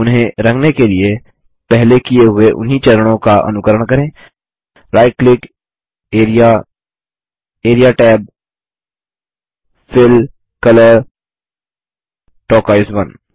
उन्हें रंगने के लिए पहले किए हुए उन्ही चरणों का अनुकरण करें - right click area area tab fill colour turquoise 1